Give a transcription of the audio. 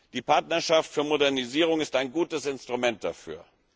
Die Partnerschaft für Modernisierung ist ein gutes Instrument dafür.